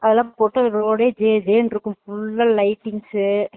அதுல்லாம் போட்டு road டே ஜ ஜணு இருக்கும் பூர lightings உ